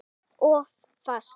Of fast.